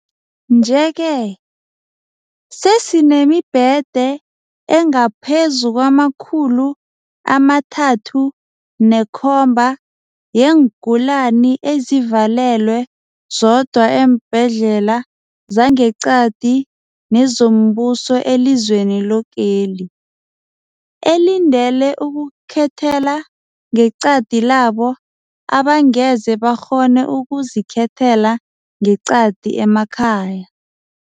Nje-ke sesinemibhede engaphezulu kwama-37 000 yeengulani ezivalelwe zodwa eembhedlela zangeqadi nezombuso elizweni lokeli, elindele ukukhethela ngeqadi labo abangeze bakghone ukuzikhethela ngeqadi emakhaya.